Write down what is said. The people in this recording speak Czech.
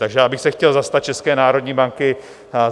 Takže já bych se chtěl zastat České národní banky.